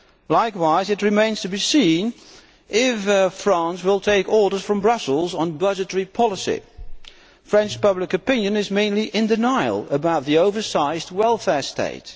Likewise, it remains to be seen if France will take orders from Brussels on budgetary policy. French public opinion is mainly in denial about the oversized welfare state.